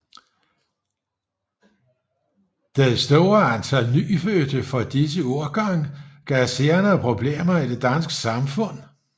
Det store antal nyfødte fra disse årgange gav senere problemer i det danske samfund